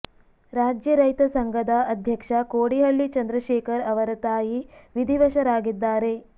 ರಾಜ್ಯ ರೈತ ಸಂಘದ ಅಧ್ಯಕ್ಷ ಕೋಡಿಹಳ್ಳಿ ಚಂದ್ರಶೇಖರ ಅವರ ತಾಯಿ ವಿಧಿವಶರಾಗಿದ್ದಾರೆ